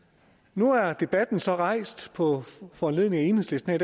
nu er debatten så rejst på foranledning af enhedslisten